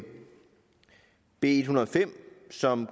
b en hundrede og fem som